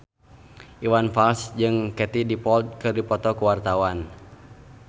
Iwan Fals jeung Katie Dippold keur dipoto ku wartawan